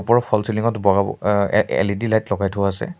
ওপৰৰ false ceiling ত বগা অহ এ এল_ই_ডি লাইট লগাই থোৱা আছে।